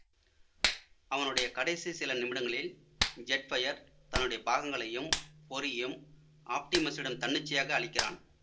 அவனுடைய கடைசி சில நிமிடங்களில் ஜெட்ஃபையர் தன்னுடைய பாகங்களையும் பொறியையும் ஆப்டிமஸிடம் தன்னிச்சையாக அளிக்கிறான்